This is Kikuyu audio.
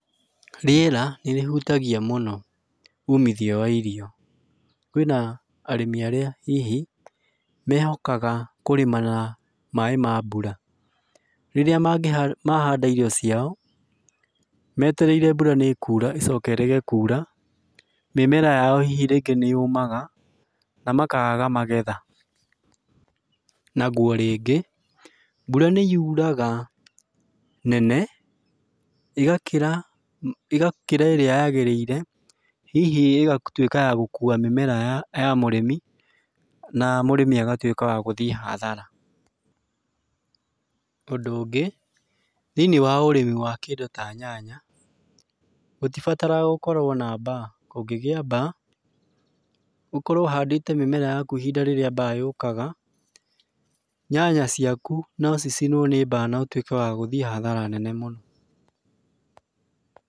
Rĩera nĩrĩhutagia mũno uumithio wa irio, kwĩna arĩmi aria hihi mehokaga kũrĩma na maaĩ ma mbura, rĩria mangĩ mahanda irio ciao metereire mbura nĩkura, mbura ĩcoke ĩrege kuura mĩmera yao hihi nĩ yumaga na makaga magetha, naguo rĩngĩ mbura nĩ yuraga nene, ĩgakĩra ĩgakĩra ĩria yagĩrĩire, hihi ĩgatuika ya gũkuwa mĩmera ya mũrĩmi na mũrĩmi agatuĩka wa agathiĩ hathara, ũndũ ũngĩ, thaĩniĩ wa ũrĩmi ta kĩndũ ta nyanya, gũtibataragaa gũkorwo na baa, kũngĩgia baa, ũkorwo ũhandĩte mĩmera yaku ihinda rĩria baa yũkaga, nyanya ciaku no cicinwo nĩ baa notweke wa gũthiĩ hathara nene mũno.